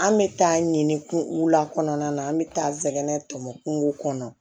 An bɛ taa ɲini kun la kɔnɔna na an bɛ taa nɛgɛn tɔmɔ kungo kɔnɔ